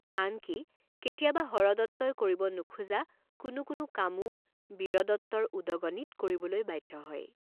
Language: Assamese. আন কি, কেতিয়াবা হৰদত্তই কৰিব নোখোজা কোনো কোনো কামো বীৰদত্তৰ উদগণিত কৰিবলৈ বাধ্য হয়।